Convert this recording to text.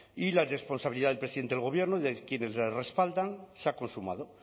y la responsabilidad del presidente del gobierno y de quienes respaldan se ha consumado